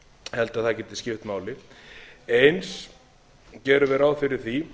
held að það geti skipt máli eins gerum við ráð fyrir því